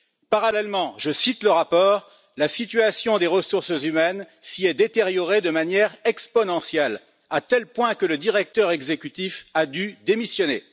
Parallèlement je cite le rapport la situation des ressources humaines s'y est détériorée de manière exponentielle, à tel point que le directeur exécutif a dû démissionner.